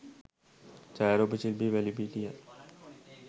ඡායාරූප ශිල්පී වැලිපිටියත්